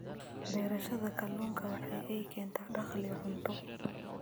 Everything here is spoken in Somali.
Beerashada kalluunka waxa ay keentaa dakhli iyo cunto.